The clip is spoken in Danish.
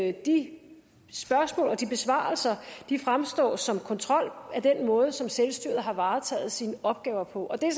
at de spørgsmål og de besvarelser fremstår som kontrol af den måde som selvstyret har varetaget sine opgaver på og det er